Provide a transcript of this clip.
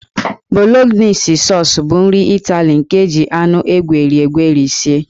Bolognese Sọọs bụ nri Ịtali nke e ji anụ egweri egweri sie.